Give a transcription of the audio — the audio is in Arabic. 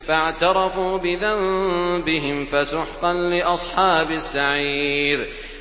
فَاعْتَرَفُوا بِذَنبِهِمْ فَسُحْقًا لِّأَصْحَابِ السَّعِيرِ